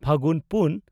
ᱯᱷᱟᱹᱜᱩᱱ ᱯᱩᱱ